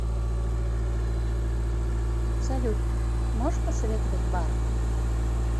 салют можешь посоветовать бар